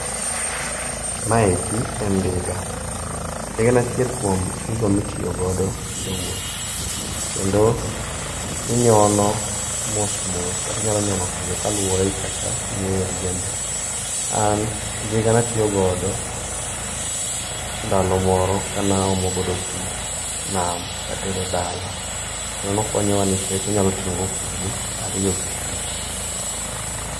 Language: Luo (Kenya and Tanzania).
Maeki en ndiga. Ndiga en achiel kuom gigo mitiyo godo e wuoth. Kendo inyono mos mos kata inyalo nyono piyo kaluwore gi kaka ing'eyo riembo. An, ndiga natiyo godo ndalo moro ka naomo godo pii nam katero dala. Kendo nokonyowa nikech inyalo ting'o godo kubni ariyo gi pii.